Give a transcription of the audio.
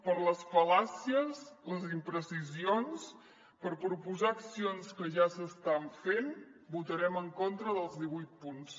per les fal·làcies les imprecisions per proposar accions que ja s’estan fent votarem en contra dels divuit punts